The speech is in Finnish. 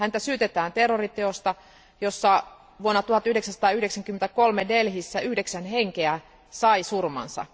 Häntä syytetään terroriteosta, jossa vuonna 1993 Delhissä yhdeksän henkeä sai surmansa.